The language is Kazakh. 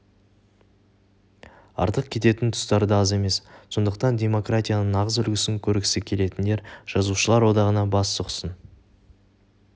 артық кететін тұстары да аз емес сондықтан демократияның нағыз үлгісін көргісі келетіндер жазушылар одағына бас сұқсын